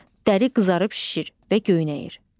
Dəri qızarıb şişir və göynəyir.